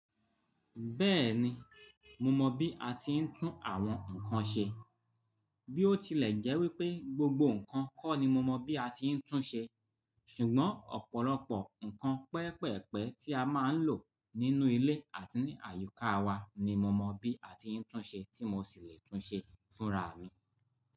Bẹ́ẹ̀ni, mo mọ bí a ti ń tún àwọn nkan ṣe. Bí ó tilẹ̀ jẹ́ wípé gbogbo nkan kọ́ ni mo mọ̀ bí a ti ń tún ṣe, ṣùgbọ́n ọ̀pọ̀lọpọ̀ nkan pẹpẹ́pẹ́ tí a máa ń lò nínú ilé àti ní àyíká wa ni mo mọ bí a ti ń tún ṣe tí mo sì lè tún ṣe fúnra mi.